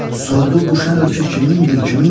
Sordu bu şən ölkə kimindir, kimin?